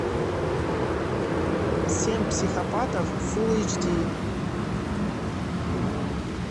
семь психопатов фул эйч ди